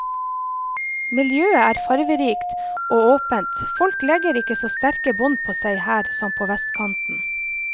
Miljøet er farverikt og åpent, folk legger ikke så sterke bånd på seg her som på vestkanten.